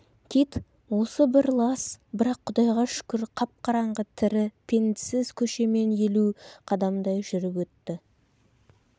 кит осы бір лас бірақ құдайға шүкір қап-қараңғы тірі пендсіз көшемен елу қадамдай жүріп өтті